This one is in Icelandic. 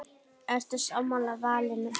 Ertu sammála valinu?